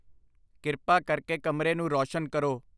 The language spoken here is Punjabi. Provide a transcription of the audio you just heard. ਕਿਰਪਾ ਕਰਕੇ ਕਮਰੇ ਨੂੰ ਰੌਸ਼ਨ ਕਰੋ